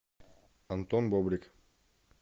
антон бобрик